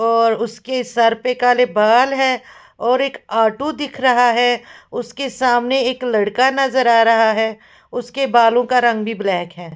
और उसके सर पर काले बाल है और एक आटू दिख रहा है उसके सामने एक लड़का नजर आ रहा है उसके बालों का रंग भी ब्लैक है।